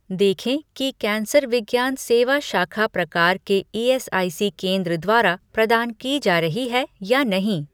देखें कि कैंसर विज्ञान सेवा शाखा प्रकार के ईएसआईसी केंद्र द्वारा प्रदान की जा रही है या नहीं